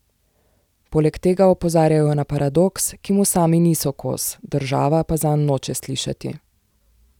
Poleg tega opozarjajo na paradoks, ki mu sami niso kos, država pa zanj noče slišati.